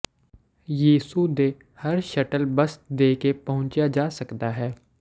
ਯਿਸੂ ਦੇ ਹਰ ਸ਼ਟਲ ਬੱਸ ਦੇ ਕੇ ਪਹੁੰਚਿਆ ਜਾ ਸਕਦਾ ਹੈ